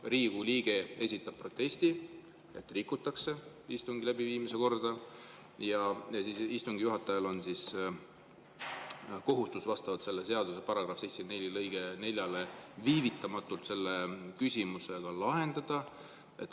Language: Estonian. Riigikogu liige esitab protesti, et rikutakse istungi läbiviimise korda, ja siis istungi juhatajal on kohustus vastavalt selle seaduse § 74 lõikele 4 viivitamatult see küsimuse lahendada.